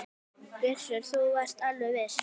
Gissur: Þú varst alveg viss?